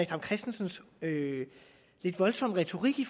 dam kristensens lidt voldsomme retorik i